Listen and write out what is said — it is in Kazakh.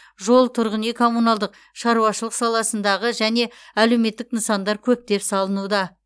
жол тұрғын үй коммуналдық шаруашылық саласындағы және әлеуметтік нысандар көптеп салынуда